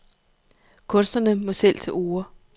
Kunstnerne må selv til orde.